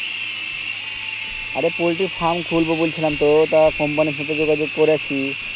অরে পোল্টির farm খুলবো বলছিলাম তো তা company র সাথে যোগাযোগ কোরাছি